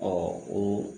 o